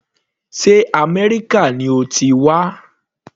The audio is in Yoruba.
Sé Améríkà ni o ti wá.